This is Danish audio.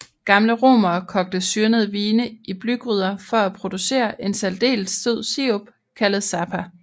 Gamle romere kogte syrnede vine i blygryder for at producere en særdeles sød sirup kaldet sapa